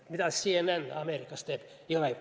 Mida CNN Ameerikas teeb?